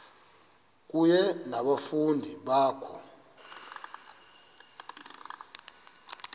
kunye nabafundi bakho